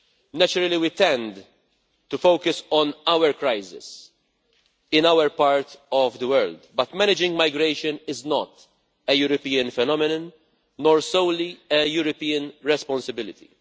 Naturally, we tend to focus on our crisis in our part of the world, but managing migration is not a European phenomenon, nor solely a European responsibility.